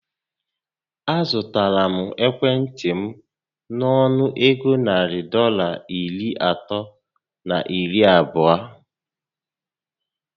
A zụtara ekwentị m nọnụ égo narị Dọlas iri atọ na iri abụọ